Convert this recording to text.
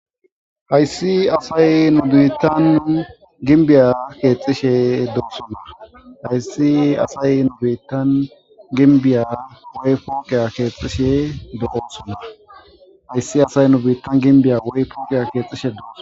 Hayssi asayi asayi nu biitan gimbiya kexxishshe dossona hayissi asay nu biitan gimmbiya woykko foqiya kexxishshe dossona.